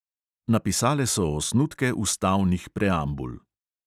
Napisale so osnutke ustavnih preambul.